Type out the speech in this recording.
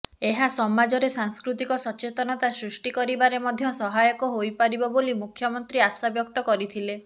ଏହା ସମାଜରେ ସାଂସ୍କୃତିକ ସଚେତନତା ସୃଷ୍ଟି କରିବାରେ ମଧ୍ୟ ସହାୟକ ହୋଇପାରିବ ବୋଲି ମୁଖ୍ୟମନ୍ତ୍ରୀ ଆଶାବ୍ୟକ୍ତ କରିଥିଲେ